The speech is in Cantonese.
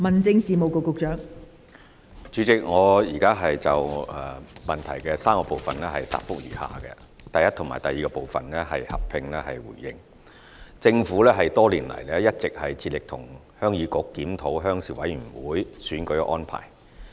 代理主席，我現就質詢的3個部分答覆如下：一及二政府多年來一直致力與鄉議局檢討鄉事委員會選舉安排。